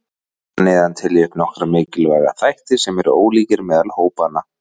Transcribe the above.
Hér að neðan tel ég upp nokkra mikilvæga þætti sem eru ólíkir meðal hópanna.